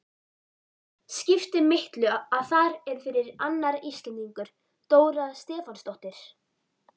Skipti miklu að þar er fyrir annar Íslendingur, Dóra Stefánsdóttir?